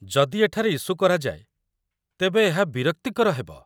ଯଦି ଏଠାରେ ଇସୁ କରାଯାଏ, ତେବେ ଏହା ବିରକ୍ତିକର ହେବ